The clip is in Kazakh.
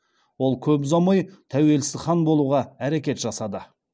ол көп ұзамай тәуелсіз хан болуға әрекет жасады